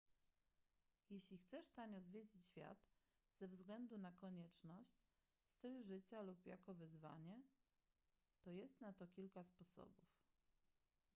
jeśli chcesz tanio zwiedzić świat ze względu na konieczność styl życia lub jako wyzwanie to jest na to kilka sposobów